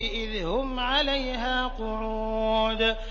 إِذْ هُمْ عَلَيْهَا قُعُودٌ